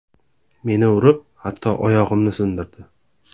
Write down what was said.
Meni urib, hatto oyog‘imni sindirdi.